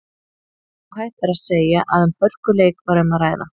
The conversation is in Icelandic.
Óhætt er að segja að um hörkuleik var um að ræða.